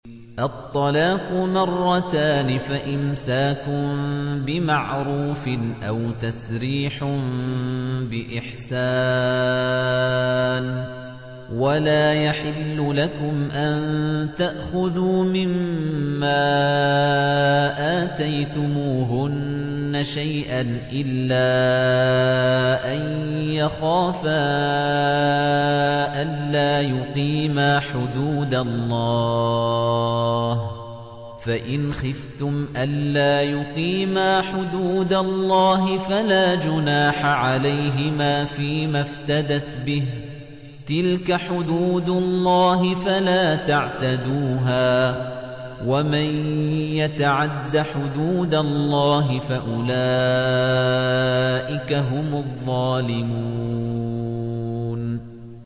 الطَّلَاقُ مَرَّتَانِ ۖ فَإِمْسَاكٌ بِمَعْرُوفٍ أَوْ تَسْرِيحٌ بِإِحْسَانٍ ۗ وَلَا يَحِلُّ لَكُمْ أَن تَأْخُذُوا مِمَّا آتَيْتُمُوهُنَّ شَيْئًا إِلَّا أَن يَخَافَا أَلَّا يُقِيمَا حُدُودَ اللَّهِ ۖ فَإِنْ خِفْتُمْ أَلَّا يُقِيمَا حُدُودَ اللَّهِ فَلَا جُنَاحَ عَلَيْهِمَا فِيمَا افْتَدَتْ بِهِ ۗ تِلْكَ حُدُودُ اللَّهِ فَلَا تَعْتَدُوهَا ۚ وَمَن يَتَعَدَّ حُدُودَ اللَّهِ فَأُولَٰئِكَ هُمُ الظَّالِمُونَ